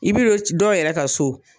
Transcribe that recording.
I bi don dɔw yɛrɛ ka so